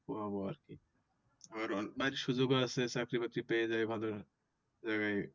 আর বাহিরে সুযোগ ও আছে চাকরি বাকরি পেয়ে যায় ভালো জায়গায় ।